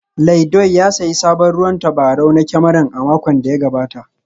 Laidoi ya sayi sabon ruwan tabarau na kyamara a makon da ya gabata